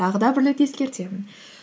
тағы да бір рет ескертемін